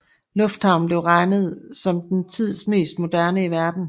Lufthavnen blev regnet som den tids mest moderne i verden